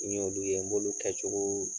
Ni n y'olu ye n b'olu kɛcogo